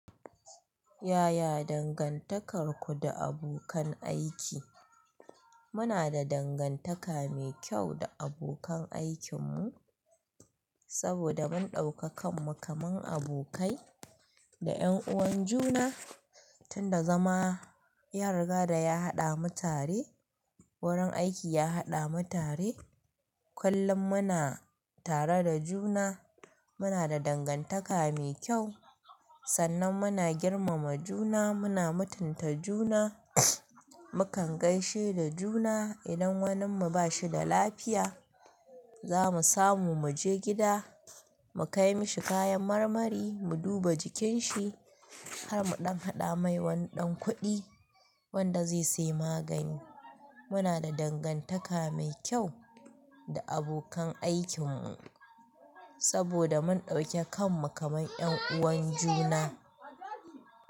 Yaya dangantakarku da abokan aiki? Muna da dangantaka mai kyau da abokan aikinmu saboda mun ɗauka kanmu kaman abokai da 'yan'uwan juna. Tun da zama yariga da ya haɗa mu tare, wurin aiki ya haɗa mu tare. Kullun muna tare da juna. Muna da dangantaka mai kyau sannan muna girmama juna, muna mutunta juna. Mukan gaishe da juna. Idan wanin mu ba shi da lafiya, za mu samu mu je gida, mu kai mishi kayan marmari, mu duba jikin shi, har mu ɗan haɗa mai wani ɗan kuɗi wanda zai sayi magani. Muna da dangantaka mai kyau da abokan aikinmu saboda mun ɗauke kanmu kaman 'yan'uwan juna.